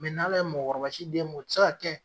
Mɛ n' ala ye mɔgɔkɔrɔba si d'e ma o ti se ka kɛ